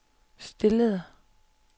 stillede